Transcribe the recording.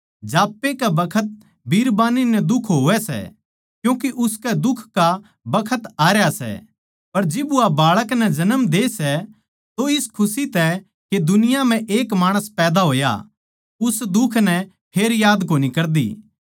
जाप्पै कै बखत बिरबान्नी नै दुख होवै सै क्यूँके उसकै दुख का बखत आरया सै पर जिब वा बाळक नै जण दे सै तो इस खुशी तै के दुनिया म्ह एक माणस पैदा होया उस दुख नै फेर याद कोनी कर दी